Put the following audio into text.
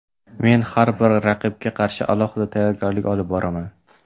Men har bir raqibga qarshi alohida tayyorgarlik olib boraman.